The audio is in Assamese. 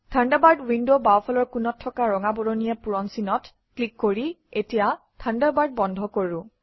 থাণ্ডাৰবাৰ্ড উইণ্ডৰ বাওঁফালৰ কোণত থকা ৰঙা বৰণীয়া পূৰণচিনত ক্লিক কৰি এতিয়া থাণ্ডাৰবাৰ্ড বন্ধ কৰোঁ